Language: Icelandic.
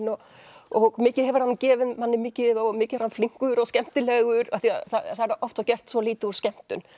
og og mikið hefur hann gefið manni mikið og mikið er hann flinkur og skemmtilegur af því það er oft gert lítið úr skemmtun